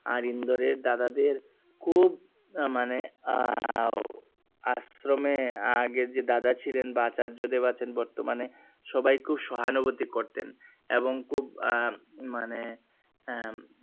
আর ইন্দোরের দাদা দের খুব মানে আশ্রমে আগের যে দাদা ছিলেন বা আচার্য্য দেব আছেন বর্তমানে সবাই খুব সহানুভূতি করতেন এবং খুব আহ মানে আহ